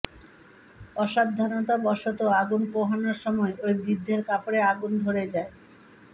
অসাবধানতাবশত আগুন পোহানোর সময় ওই বৃদ্ধের কাপড়ে আগুন ধরে যায়